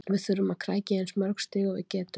Við þurfum að krækja í eins mörg stig og við getum.